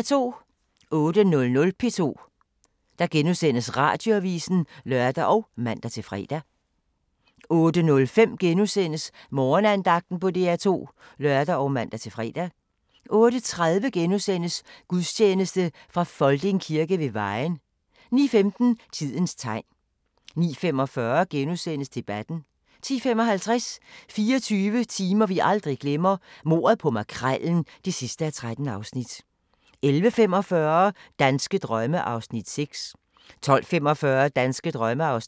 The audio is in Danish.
08:00: P2 Radioavis *(lør og man-fre) 08:05: Morgenandagten på DR2 *(lør og man-fre) 08:30: Gudstjeneste fra Folding Kirke ved Vejen * 09:15: Tidens tegn 09:45: Debatten * 10:55: 24 timer, vi aldrig glemmer: Mordet på Makrellen (13:13) 11:45: Danske drømme (6:10) 12:45: Danske drømme (7:10)